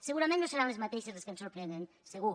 segurament no seran les mateixes les que ens sorprenen segur